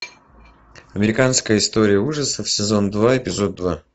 американская история ужасов сезон два эпизод два